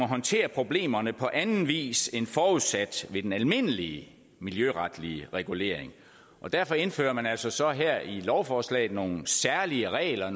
håndtere problemerne på anden vis end forudsat ved den almindelige miljøretlige regulering derfor indfører man altså her i lovforslaget nogle særlige regler